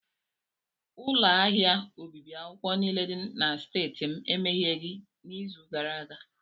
Ụlọ ahịa obibi akwụkwọ niile dị na streeti m emegheghị n'izu gara aga.